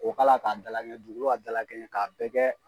O k' a la k'a dalakɛɲɛ, dugukolo ka dalakɛɲɛ k'a bɛɛ kɛ.